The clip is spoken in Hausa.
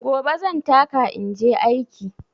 Gobe zan taka inje aiki.